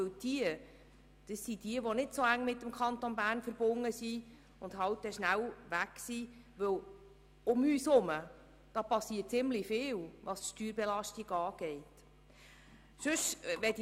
Denn sie sind nicht sehr eng mit dem Kanton Bern verbunden und können auch schnell wieder weg sein, da um uns herum ziemlich viel bezüglich der Steuerbelastung geschieht.